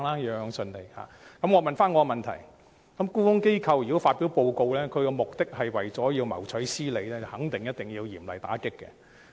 如果沽空機構發表報告的目的是為了謀取私利，便一定要嚴厲打擊。